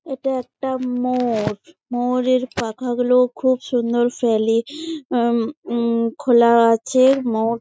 এটা একটা ময়ুর। ময়ুরের পাখা গুলো খুব সুন্দর ফেলে আহ উম উম খোলা আছে ময়ুর--